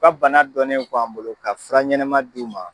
U ka bana dɔnnen an bolo ka fura ɲɛnɛma d' u ma.